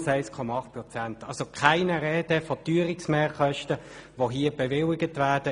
Es kann also keine Rede von Teuerungsmehrkosten sein, welche hier bewilligt werden.